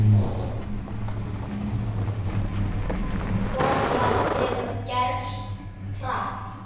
Og það hefur gerst hratt.